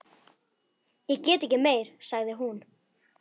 Ég get ekki meir, sagði hún.